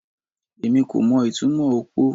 Èmi kò mo ìtumò okpo o